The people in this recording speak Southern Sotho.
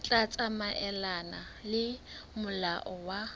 tla tsamaelana le molao wa